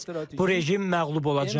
Bu rejim məğlub olacaq.